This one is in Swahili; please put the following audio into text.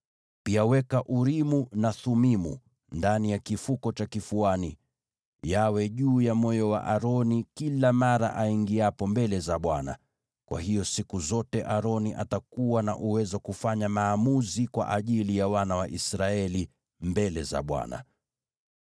Pia weka Urimu na Thumimu ndani ya kifuko cha kifuani, yawe juu ya moyo wa Aroni kila mara aingiapo mbele za Bwana . Kwa hiyo siku zote Aroni atakuwa na uwezo kufanya maamuzi kwa ajili ya wana wa Israeli mbele za Bwana .